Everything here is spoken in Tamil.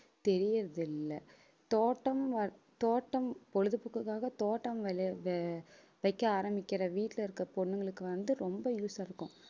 தெரியறதில்லை தோட்டம் வ~ தோட்டம் பொழுதுபோக்குக்காக தோட்டம் வைக்க ஆரம்பிக்கிற வீட்டுல இருக்க பொண்ணுங்களுக்கு வந்து ரொம்ப use ஆ இருக்கும்